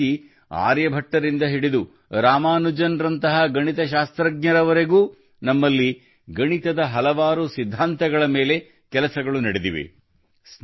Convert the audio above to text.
ಇದೇ ರೀತಿ ಆರ್ಯಭಟ್ಟರಿಂದ ಹಿಡಿದು ರಾಮಾನುಜನ್ ರಂತಹ ಗಣಿತಶಾಸ್ತ್ರಜ್ಞರವರೆಗೂ ನಮ್ಮಲ್ಲಿ ಗಣಿತದ ಹಲವಾರು ಸಿದ್ಧಾಂತಗಳ ಮೇಲೆ ಕೆಲಸಗಳು ನಡೆದಿವೆ